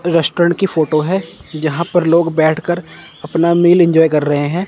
Restaurant की photo है जहां पर लोग बैठकर अपना मेल इंजॉय कर रहे हैं।